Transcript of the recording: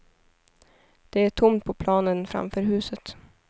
Det är tomt på planen framför huset.